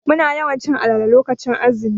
Muna yawan cin alale lokacin azumi.